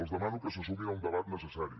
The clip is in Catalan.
els demano que se sumin a un debat necessari